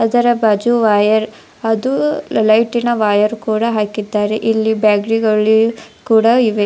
ಅದರ ಬಾಜು ವಯರ್ ಅದು ಲೈಟಿನ ವಯರ್ ಕೂಡ ಹಾಕಿದ್ದಾರೆ ಇಲ್ಲಿ ಬ್ಯಾಟರಿಗಳು ಕೂಡ ಇವೆ.